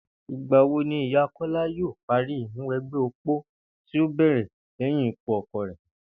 Ìgbà wo ni ìyá Kó̩lá yóò parí ìmúwe̩gbé̩ opó tí ó bè̩rè̩ lé̩yìn ikú o̩ko̩ rè̩?